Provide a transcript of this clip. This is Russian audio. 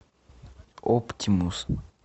оптимус